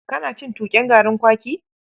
Kana cin tuƙen garin kwaki?